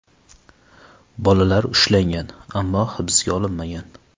Bolalar ushlangan, ammo hibsga olinmagan.